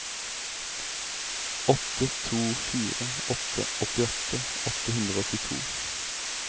åtte to fire åtte åttiåtte åtte hundre og åttito